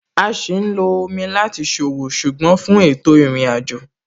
A sì lo omi láti ṣòwò, ṣùgbọ́n fún ètò ìrìnàjò.